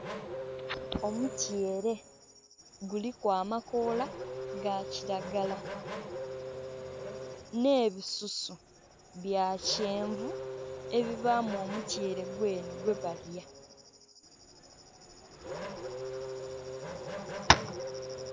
Omutyere guliku amakoola ga kiragala n'ebisusu bya kyenvu ebibaamu omutyere gwene gwebalya.